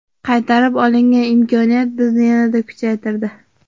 Qaytarib olingan imkoniyat bizni yanada kuchaytirdi.